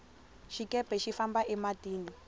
xikepe xi famba e matini